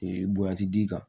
Ee bonya ti d'i kan